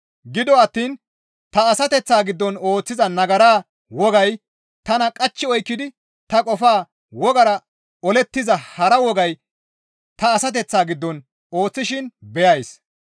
Gido attiin ta asateththa giddon ooththiza nagara wogay tana qachchi oykkidi ta qofa wogaara olettiza hara wogay ta asateththa giddon ooththishin beyays.